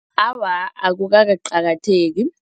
Awa, akukakaqakatheki.